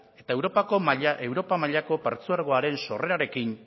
eta europa mailako partzuergoaren sorrerarekin